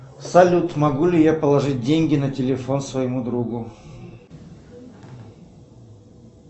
салют могу ли я положить деньги на телефон своему другу